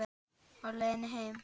Á leiðinni heim?